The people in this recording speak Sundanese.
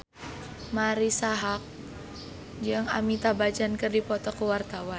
Marisa Haque jeung Amitabh Bachchan keur dipoto ku wartawan